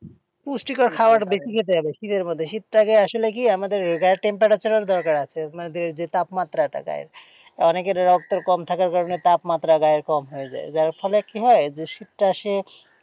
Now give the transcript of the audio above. পুষ্টিকর খাবার বেশি খেতে হবে শীতের মধ্যে, শীতটাকে আসলে কি আমাদের গায়ের temperature দরকার আছে মানে যে তাপমাত্রাটা গায়ের। অনেকের রক্ত কম থাকার কারণে তাপমাত্রা গায়ের কম হয়ে যায়, যার ফলে কি হয় যে শীতটা সে,